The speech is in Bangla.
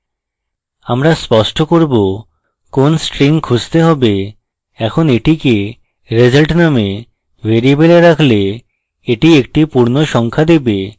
আমরা স্পষ্ট করব কোন string খুঁজতে হবে এখন এটিকে result নামক ভ্যারিয়েবলে রাখলে এটি একটি পূর্ণসংখ্যা দেবে